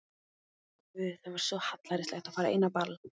Guð, það er svo hallærislegt að fara ein á ball.